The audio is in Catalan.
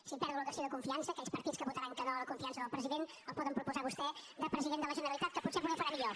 si perdo la qüestió de confiança aquells partits que votaran que no a la confiança del president el poden proposar a vostè de president de la generalitat que potser ho farà millor